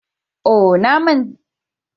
Oh! Na rasa agogon hannu na.